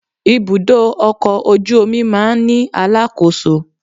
Ibùdó ọkọ̀ ojú omi máa ń ní alákòóso